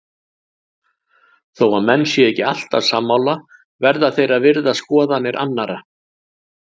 Þó að menn séu ekki alltaf sammála verða þeir að virða skoðanir annara.